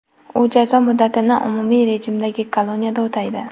U jazo muddatini umumiy rejimdagi koloniyada o‘taydi.